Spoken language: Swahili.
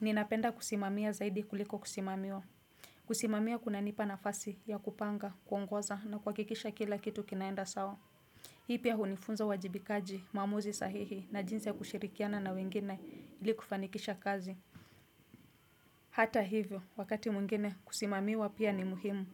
Ninapenda kusimamia zaidi kuliko kusimamiwa. Kusimamia kunanipa nafasi ya kupanga, kuongoza na kuhakikisha kila kitu kinaenda sawa. Hii pia hunifunza uwajibikaji, maamuzi sahihi na jinsi ya kushirikiana na wengine ili kufanikisha kazi. Hata hivyo, wakati mwingine kusimamiwa pia ni muhimu.